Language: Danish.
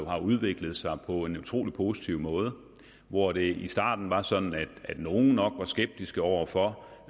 har udviklet sig på en utrolig positiv måde hvor det i starten var sådan at nogle nok var skeptiske over for